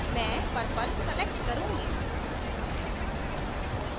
मैं purple select करुँगी